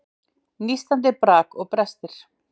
Nístandi brak og brestir.